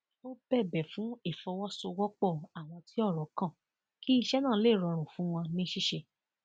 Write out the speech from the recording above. ó bẹbẹ fún ìfọwọsowọpọ àwọn tí ọrọ kan kí iṣẹ náà lè rọrùn fún wọn ní ṣíṣe